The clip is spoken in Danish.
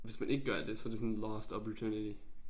Hvis man ikke gør det så det sådan lost oppurtunity